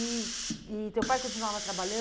E e teu pai continuava